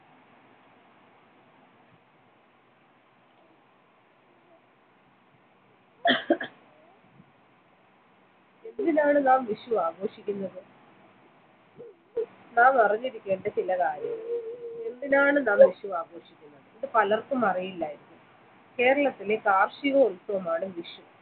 എന്തിനാണ് നാം വിഷു ആഘോഷിക്കുന്നത് നാം അറിഞ്ഞിരിക്കേണ്ട ചില കാര്യങ്ങൾ എന്തിനാണ് നാം വിഷു ആഘോഷിക്കുന്നത് ഇത് പലർക്കും അറിയില്ല കേരളത്തിലെ കാർഷിക ഉത്സവമാണ് വിഷു